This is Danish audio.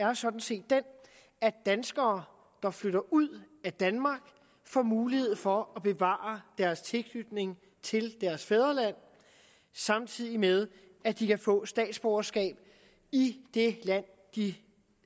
er sådan set den at danskere der flytter ud af danmark får mulighed for at bevare deres tilknytning til deres fædreland samtidig med at de kan få statsborgerskab i det land de